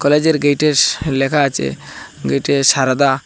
কলেজের গেটেস লেখা আছে গেটে সারদা।